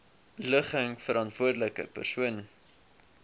ligging verantwoordelike persoon